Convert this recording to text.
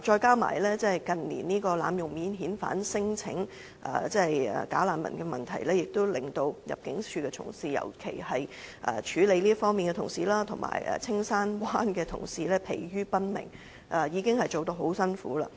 加上近年濫用提出免遣返聲請機制的假難民問題，令入境處的同事，尤其是處理這方面問題的同事及青山灣的同事疲於奔命，工作已經很辛苦。